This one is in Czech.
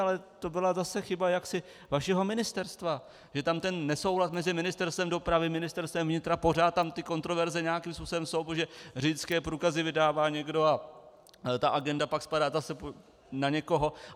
Ale to byla zase chyba jaksi vašeho ministerstva, že tam ten nesouhlas mezi Ministerstvem dopravy, Ministerstvem vnitra, pořád tam ty kontroverze nějakým způsobem jsou, protože řidičské průkazy vydává někdo a ta agenda pak spadá zase na někoho.